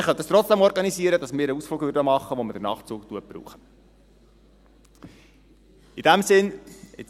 Man könnte trotzdem organisieren, dass wir einen Ausflug mit dem Nachtzug machen könnten.